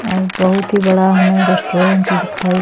और बहोत ही बड़ा हमे रेस्टोरेंट दिखाई --